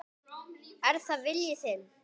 Er það vilji þinn?